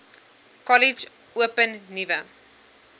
kollege open nuwe